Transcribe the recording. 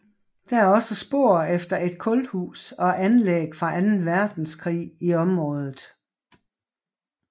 Der er også spor efter et kulhus og anlæg fra anden verdenskrig i området